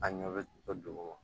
A ɲɛ bɛ to dugu ma